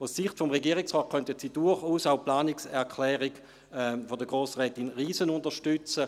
Aus Sicht des Regierungsrates könnten Sie durchaus auch die Planungserklärung zur Stiftung von Grossrätin Riesen, von der SP, unterstützen.